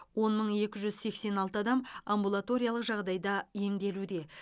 он мың екі жүз сексен алты адам амбулаториялық жағдайда емделуде